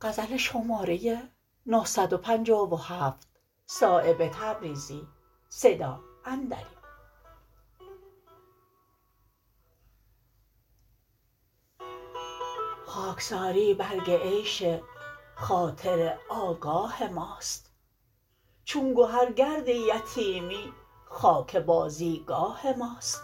خاکساری برگ عیش خاطر آگاه ماست چون گهر گرد یتیمی خاک بازیگاه ماست